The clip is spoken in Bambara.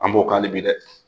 An b'o kan hali bi dɛ!